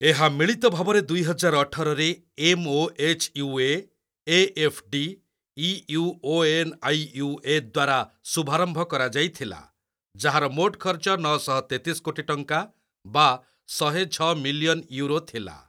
ଏହା ମିଳିତ ଭାବରେ ଦୁଇହଜାର ଅଠର ରେ M O H U A, A F D, E U ଓ ଏନ୍ ଆଇ ୟୁ ଏ ଦ୍ବାରା ଶୁଭାରମ୍ଭ କରାଯାଇଥିଲା, ଯାହାର ମୋଟ ଖର୍ଚ୍ଚ ନଅଶହ ତେତିଶି କୋଟି ଟଙ୍କା ବା ଶହେଛଅ ମିଲିୟନ୍ ୟୁରୋ ଥିଲା।